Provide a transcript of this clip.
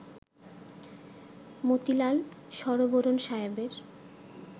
মতিলাল শরবোরণ সাহেবের